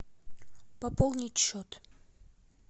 пополнить счет